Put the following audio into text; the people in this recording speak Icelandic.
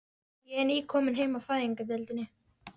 Ég er nýkomin heim af Fæðingardeildinni.